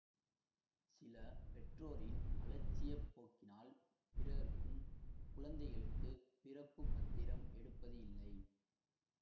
சில பெற்றோரின் அலட்சிய போக்கினால் பிறருக்கும் குழந்தைகளுக்கு பிறப்புப் பத்திரம் எடுப்பது இல்லை